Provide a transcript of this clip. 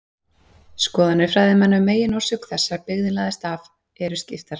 Skoðanir fræðimanna um meginorsök þess að byggðin lagðist af eru skiptar.